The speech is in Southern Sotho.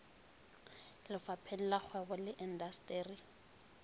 lefapheng la kgwebo le indasteri